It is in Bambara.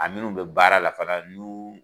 A minnu bɛ baara la fana n'u